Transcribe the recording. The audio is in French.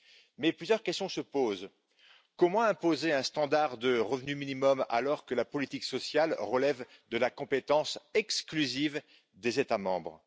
Mais plusieurs questions se posent comment imposer un revenu minimum alors que la politique sociale relève de la compétence exclusive des États membres?